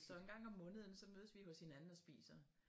Så en gang om måneden så mødes vi hos hinanden og spiser